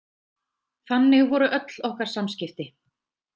Þannig voru öll okkar samskipti.